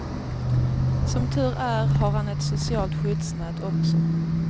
Som tur är har han ett socialt skyddsnät också.